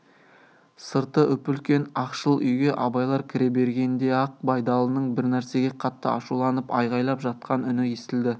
сырты үп-үлкен ақшыл үйге абайлар кіре бергенде-ақ байдалының бір нәрсеге қатты ашуланып айғайлап жатқан үні естілді